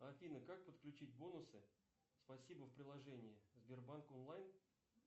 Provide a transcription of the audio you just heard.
афина как подключить бонусы спасибо в приложении сбербанк онлайн